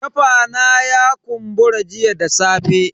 Kafa na ya kumbura jiya da safe.